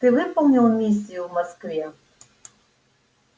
ты выполнил миссию в москве